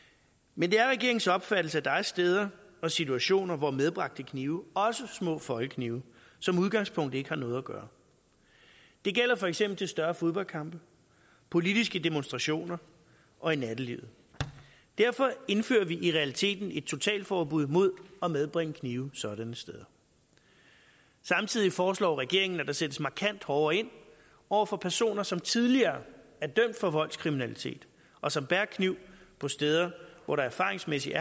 men det er regeringens opfattelse at der er steder og situationer hvor medbragte knive også små foldeknive som udgangspunkt ikke har noget at gøre det gælder for eksempel til større fodboldkampe og politiske demonstrationer og i nattelivet derfor indfører vi i realiteten et totalforbud imod at medbringe kniv sådanne steder samtidig foreslår regeringen at der sættes markant hårdere ind over for personer som tidligere er dømt for voldskriminalitet og som bærer kniv på steder hvor der erfaringsmæssigt